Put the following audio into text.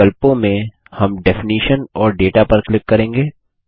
इन विकल्पों में हम डेफिनिशन और दाता पर क्लिक करेंगे